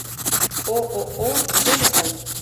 ооо дельта